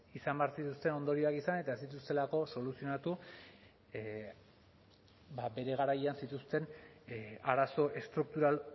izan behar zituzten ondorioak izan eta ez dituztelako soluzionatu ba bere garaian zituzten arazo estruktural